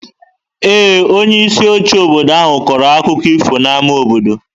Ee, onyeisi oche obodo ahụ kọrọ akụkọ ifo n'ámá obodo.